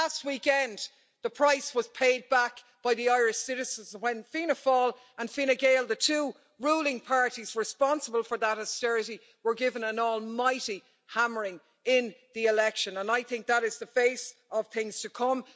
But last weekend the price was paid back by the Irish citizens when Fianna Fáil and Fine Gael, the two ruling parties responsible for that austerity, were given an almighty hammering in the election, and I think that is the face of things to come.